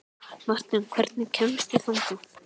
Marten, hvernig kemst ég þangað?